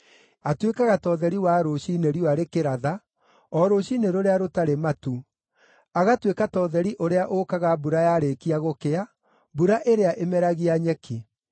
atuĩkaga ta ũtheri wa rũciinĩ riũa rĩkĩratha, o rũciinĩ rũrĩa rũtarĩ matu, agatuĩka ta ũtheri ũrĩa ũũkaga mbura yarĩkia gũkĩa, mbura ĩrĩa ĩmeragia nyeki.’